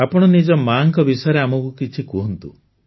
ଆପଣ ନିଜ ମାତାଙ୍କ ବିଷୟରେ ଆମକୁ କିଛି କୁହନ୍ତୁ